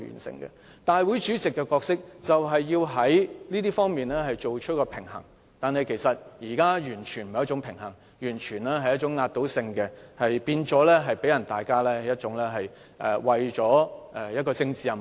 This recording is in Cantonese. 立法會主席的角色就是要在這些方面取得平衡，但現在完全沒有平衡，令人覺得他為了完成政治任務而採取強硬手法。